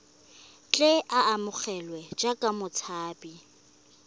tle a amogelwe jaaka motshabi